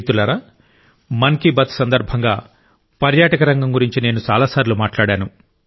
మిత్రులారా మన్ కి బాత్ సందర్భంగా పర్యాటక రంగం గురించి నేను చాలాసార్లు మాట్లాడాను